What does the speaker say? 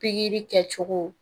Pikiri kɛcogo